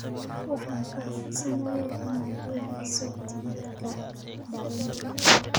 Waxaan kaa codsanayaa inaad ii hayso tigidhka tareenka